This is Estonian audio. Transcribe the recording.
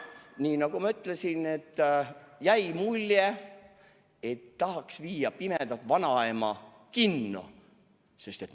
Nii nagu ma ütlesin, jäi mulje, et tahaks viia pimeda vanaema kinno.